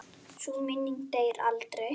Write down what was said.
Sú minning deyr aldrei.